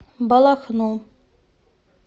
балахну